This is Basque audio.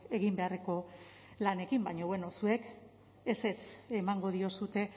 egin beharreko lanekin baina bueno zuek ezetz emango diozue